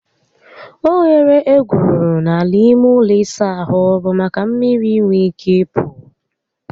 Oghere egwuru n'ala ime ụlọ ịsa ahụ bụ maka mmiri inwe ike ịpụ